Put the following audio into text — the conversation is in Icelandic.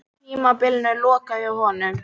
Tímabilinu lokið hjá honum